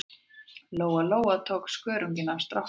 Lóa-Lóa og tók skörunginn af stráknum.